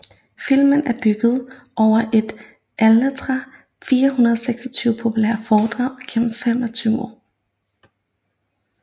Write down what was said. Filmen er bygget over et af Arlettes 426 populære foredrag gennem 25 år